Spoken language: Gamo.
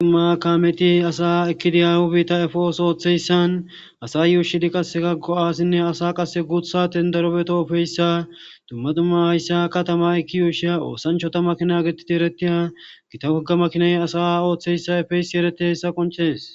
dhumakameti asa ekkidi yahu biitta efeos ooththeyssan asa yuushidi qasse ka go7aasinne asa qase guutha tendarobeeto ofeyssa dumma dumma hayssa katama ekki yuushiya oosanchota makina getiti yeretiya gita wogga makinay asa ooththeyssa efeysi ereti hayssa qonchees